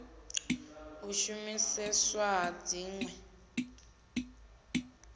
u shumiseswa ha dzin we